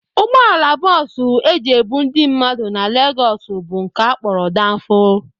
Ụgbọala bọs e ji ebu ndị mmadụ na Legos bụ nke a kpọrọ Danfo